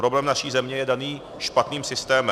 Problém naší země je daný špatným systémem.